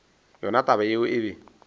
gona taba yeo e be